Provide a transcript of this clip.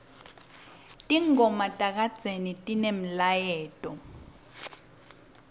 tingoma takadzeni tinemlayeto